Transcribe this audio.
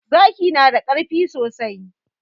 Zaki na da ƙarfi sosai.